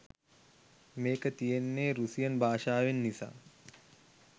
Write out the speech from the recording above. මේක තියෙන්නේ රුසියන් භාෂාවෙන් නිසා